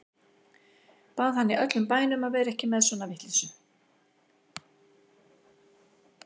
Bað hann í öllum bænum að vera ekki með svona vitleysu.